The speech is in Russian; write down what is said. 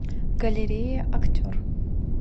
галерея актер